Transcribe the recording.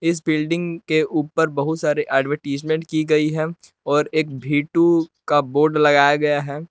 इस बिल्डिंग के ऊपर बहुत सारे एडवरटीज्मेंट की गई है और एक भी टू का बोर्ड लगाया गया है।